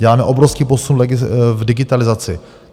Děláme obrovský posun v digitalizaci.